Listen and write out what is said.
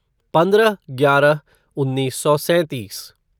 पंद्रह ग्यारह उन्नीस सौ सैंतीस